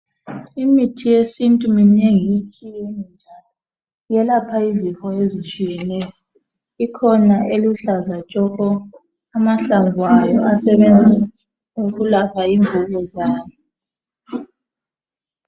Imithi yesintu minengi itshiyene njalo iyelapha izifo ezitshiyeneyo ikhona eluhlaza tshoko amahlamvu ayo asebenza ukulapha imvukuzane.